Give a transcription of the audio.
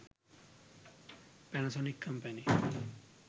panasonic company